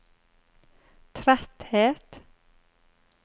tretthet